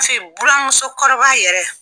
bura muso kɔrɔba yɛrɛ